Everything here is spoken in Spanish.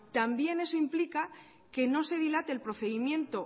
también eso implica que no se dilate el procedimiento